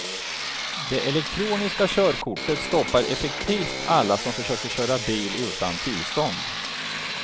Det elektroniska körkortet stoppar effektivt alla som försöker köra bil utan tillstånd.